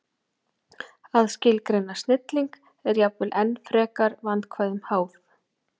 Að skilgreina snilling er jafnvel enn frekar vandkvæðum háð.